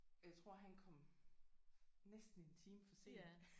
Jeg tror han kom næsten en time for sent